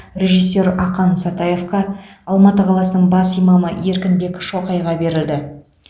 режиссер ақан сатаевқа алматы қаласының бас имамы еркінбек шоқайға берілді